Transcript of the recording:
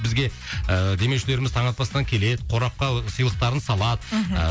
бізге ыыы демеушілеріміз таң атпастан келеді қорапқа ы сыйлықтарын салады мхм